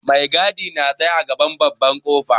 Mai gadi na tsaye a gaban babban ƙofa.